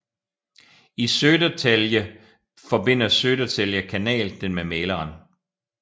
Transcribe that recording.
I Södertälje forbinder Södertälje kanal den med Mäleren